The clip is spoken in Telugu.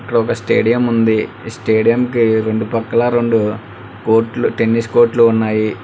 ఇక్కడ ఒక స్టేడియం ఉంది స్టేడియం కి రెండు పక్కలా రెండు కోట్లు టెన్నిస్ కోట్లు ఉన్నాయి.